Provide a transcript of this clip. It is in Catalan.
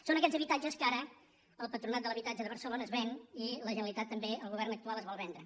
són aquests habitatges que ara el patronat de l’habitatge de barcelona es ven i la generalitat també el govern actual es vol vendre